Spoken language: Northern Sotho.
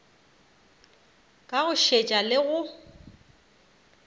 ka go šetša le go